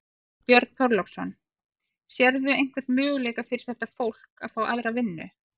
Björn Þorláksson: Sérðu einhvern möguleika fyrir þetta fólk að fá aðra vinnu?